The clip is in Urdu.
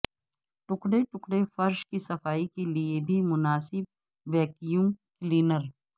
ٹکڑے ٹکڑے فرش کی صفائی کے لئے بھی مناسب ویکیوم کلینر